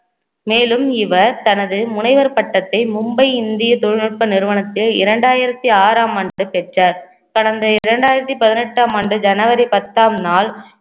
மேலும் இவர் தனது முனைவர் பட்டத்தை மும்பை இந்திய தொழில்நுட்ப நிறுவனத்தில் இரண்டாயிரத்தி ஆறாம் ஆண்டு பெற்றார் கடந்த இரண்டாயிரத்தி பதினெட்டாம் ஆண்டு ஜனவரி பத்தாம் நாள்